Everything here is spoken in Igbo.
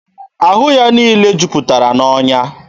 Ahụ ya niile juputara n'ọnya.